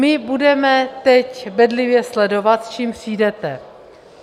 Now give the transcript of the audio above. My budeme teď bedlivě sledovat, s čím přijdete.